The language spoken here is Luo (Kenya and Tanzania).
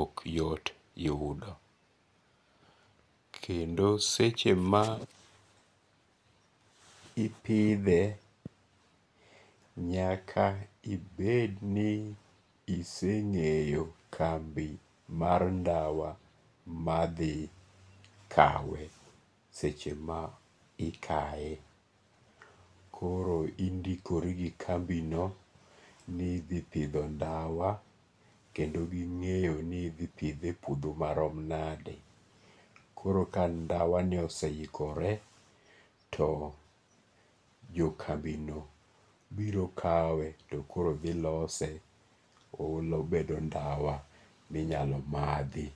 ok yot yudo kendo seche ma ipithe nyaka ibed ni iseinge'yo kambi mar ndawa mathi kawe seche ma ikaye, koro indikoro gi kambino nithipitho ndawa, kendo gingeyo ni ithipithe e puotho marom nade, koro ka ang' ndawani oseikore to jo kambino biro' kawe to koro thi lose obedo ndawa minyalo mathi